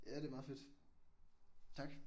Ja det er meget fedt. Tak